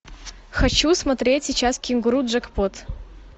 хочу смотреть сейчас кенгуру джекпот